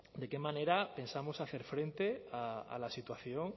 de qué manera pensamos hacer frente a la situación